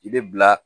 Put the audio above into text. I bɛ bila